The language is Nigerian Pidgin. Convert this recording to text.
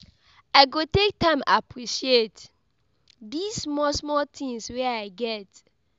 I go take time appreciate dese small small tins wey I get.